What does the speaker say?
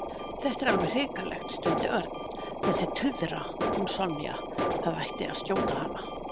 Þetta er alveg hrikalegt stundi Örn. Þessi tuðra, hún Sonja, það ætti að skjóta hana